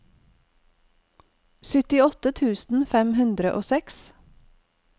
syttiåtte tusen fem hundre og seks